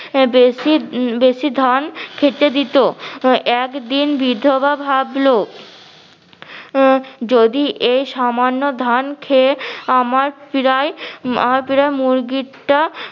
বেশি বেশি ধান খেতে দিতো একদিন বিধবা ভাবলো আহ যদি এই সামান্য ধান খেয়ে আমার পিরায় আমার পিরায় মুরগিটা